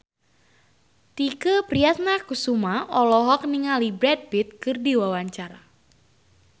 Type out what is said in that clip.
Tike Priatnakusuma olohok ningali Brad Pitt keur diwawancara